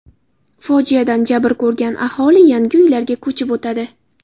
Fojiadan jabr ko‘rgan aholi yangi uylarga ko‘chib o‘tadi.